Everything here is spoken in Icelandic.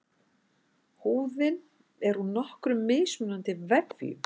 Húðin er úr nokkrum mismunandi vefjum.